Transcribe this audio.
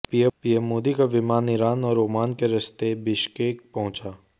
PM Modi का विमान Iran और ओमान के रास्ते बिश्केक पहुंचा